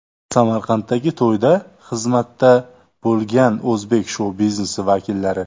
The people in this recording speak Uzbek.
Samarqanddagi to‘yda xizmatda bo‘lgan o‘zbek shou-biznesi vakillari.